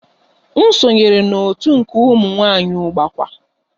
M sonyeere otu nke ụmụ nwanyị Ugbakwa